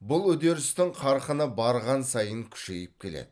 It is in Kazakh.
бұл үдерістің қарқыны барған сайын күшейіп келеді